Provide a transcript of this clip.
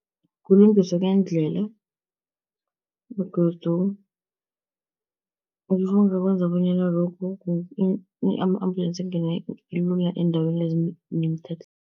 Kulungiswa kweendlela begodu ngakwenza bonyana lokhu ama-ambulensi angene lula eendaweni